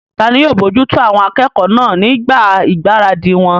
Tani yóò bojútó àwọn akẹ́kọ̀ọ́ náà nígbà ìgbáradì wọn?